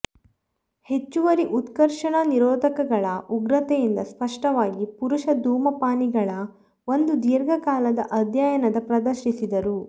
ಹೆಚ್ಚುವರಿ ಉತ್ಕರ್ಷಣ ನಿರೋಧಕಗಳ ಉಗ್ರತೆಯಿಂದ ಸ್ಪಷ್ಟವಾಗಿ ಪುರುಷ ಧೂಮಪಾನಿಗಳ ಒಂದು ದೀರ್ಘಕಾಲದ ಅಧ್ಯಯನದ ಪ್ರದರ್ಶಿಸಿದರು